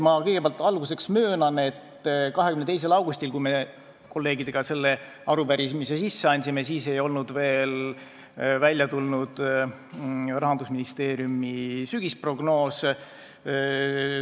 Kõigepealt ma möönan, et 22. augustil, kui me kolleegidega selle arupärimise sisse andsime, ei olnud Rahandusministeeriumi sügisprognoos veel välja tulnud.